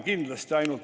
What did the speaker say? ...